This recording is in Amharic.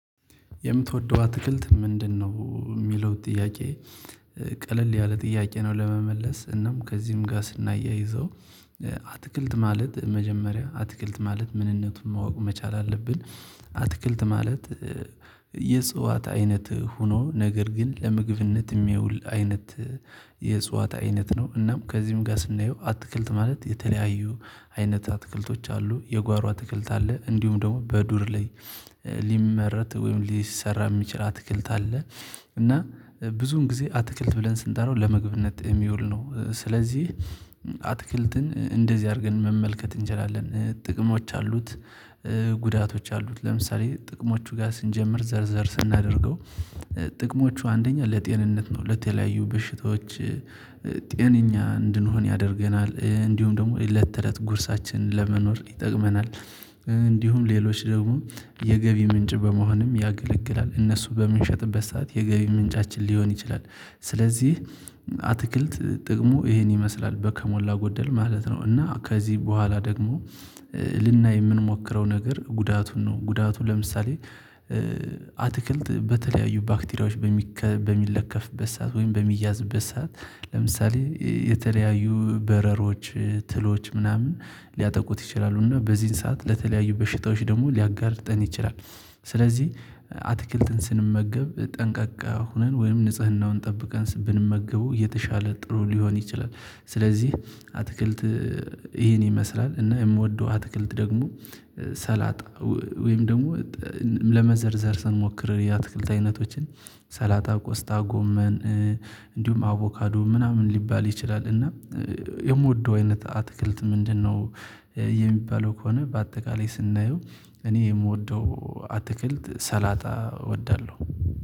የምትወደው አትክልት ምንድነው? የሚለውን ጥያቄ ቀለል ያለ ጥያቄ ነው ለመመለስ እናም ከዚህም ጋር ስናያይዘው አትክልት ማለት መጀመሪያ አትክልት ማለት ምንነቱን ማወቅ መቻል አለብን። አትክልት ማለት የእጽዋት አይነት ሆኖ ነገር ግን ለምግብነት የሚያውል አይነት። የእጽዋት አይነት ነው እናም ከዚህም ጋር ስናየው አትክልት ማለት የተለያዩ አይነት አትክልቶች አሉ የጓሮ አትክልት አለ እንዲሁም ደግሞ በዱር ላይ ሊመረት ወይም ሊሰራ የሚችል አትክልት አለ። እና ብዙን ግዜ አትክልት ብለን ስንጠራው ለምግብነት ሚውል ነው ስለዚ አትክልትን እንደዚ አርገን መመልከት እንችላለን ጥቅሞች አሉት። ጉዳቶች አሉት ለምሳሌ ጥቅሞቹ ጋ ስንጀምር ዘር ዘር ስናደርገው ጥቅሞቹ አንደኛ ለጤንነት ነው ለተለያዩ በሽታዎች። ጤንኛ እንድንሆን ያደርገናል እንዲሁም ደሞ ለተለት ጉርሳችን ለመኖር ይጠቅመናል። እንዲሁም ሌሎች ደሞ የእጽዋት አይነት ነው እናም ከዚህም ጋር ስናየው አትክልት ማለት የተለያዩ አይነት አትክልቶች። አሉ የጓሮ አትክልት አለ እንዲሁም ደግሞ በዱር ላይ ሊመረት ወይም ሊሰራ የሚችል አትክልት አለ። እና ብዙን ጊዜ አትክልት ብለን ስንጠራው ለምግብነት ጣዕም የሚውለውን ነው። ስለዚህ አትክልት በተለያዩ ባክቴሪያዎች በሚለከፍበት ሰዓት ወይም በሚያዝበት ሰዓት ለምሳሌ የተለያዩ በረሮዎች ትሎች ምናምን ሊያጠቁት ይችላሉ እና በዚህ ሰዓት ለተለያዩ በሽታዎች ደግሞ ሊያጋልጠን ይችላል። ስለዚህ አትክልትን ስንመገብ ጠንቃቃ ሆነን ወይም ንጽህናውን ጠብቀን ብንመገበው የተሻለ ጥሩ ሊሆን ይችላል። ስለዚህ አትክልት ይሄን ይመስላል እና የምወደው አትክልት ደግሞ ሰላጣ ወይም ደሞ ለመዘርዘር ስንሞክር ያትክልት አይነቶችን ሰላጣ ቆስጣ ጎመን እንዲሁም አቮካዶ ምናምን ሊባል ይችላል። እና የምወደው አይነት አትክልት ምንድነው? የሚባለው ከሆነ በአጠቃላይ ስናየው እኔ የምወደው አትክልት ሰላጣ እወዳለው።